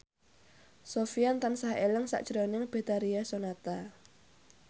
Sofyan tansah eling sakjroning Betharia Sonata